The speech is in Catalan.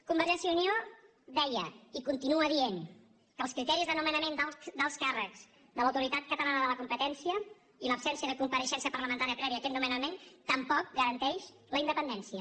convergència i unió deia i continua dient que els criteris de nomenament d’alts càrrecs de l’autoritat catalana de la competència i l’absència de compareixença parlamentària prèvia a aquest nomenament tampoc garanteixen la independència